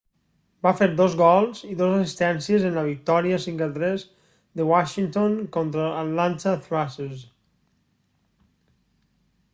va fer 2 gols i 2 assistències en la victòria 5 a 3 de washington contra els atlanta thrashers